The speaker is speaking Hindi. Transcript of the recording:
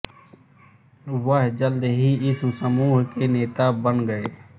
वह जल्द ही इस समूह के नेता बन गए